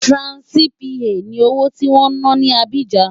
Franc CFA ni owó tí wọ́n ń ná ní Abidjan.